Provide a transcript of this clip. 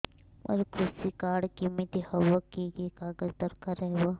ମୋର କୃଷି କାର୍ଡ କିମିତି ହବ କି କି କାଗଜ ଦରକାର ହବ